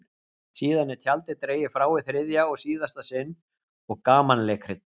Síðan er tjaldið dregið frá í þriðja og síðasta sinn og gamanleikrit